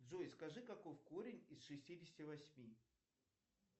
джой скажи каков корень из шестидесяти восьми